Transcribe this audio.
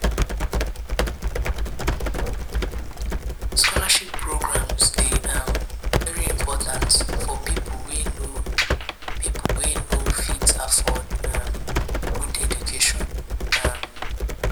scholarship programmes de um very important for pipo wey no pipo wey no fit afford um good education um